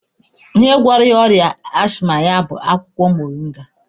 Ihe gwọrọ ya ọrịa ashịma ya bụ akwụkwọ moringa.